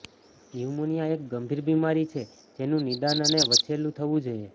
pneumonia એક ગંભીર બીમારી છે જેનું નિદાન અને વહેલું થવું જોઈએ